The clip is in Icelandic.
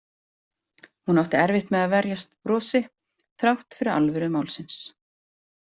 Hún átti erfitt með að verjast brosi þrátt fyrir alvöru málsins.